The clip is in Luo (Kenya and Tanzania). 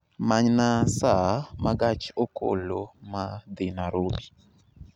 Manyna saa ma gach okoloma dhi Nairobi